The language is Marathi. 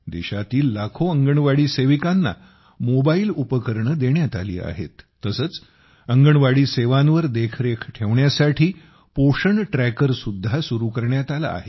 देशातील लाखो अंगणवाडी सेविकांना मोबाईल उपकरणे देण्यात आली आहेत तसेच अंगणवाडी सेवांवर देखरेख ठेवण्यासाठी पोषण ट्रॅकर सुद्धा सुरू करण्यात आला आहे